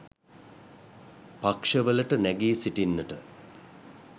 පක්ෂ වලට නැගී සිටින්නට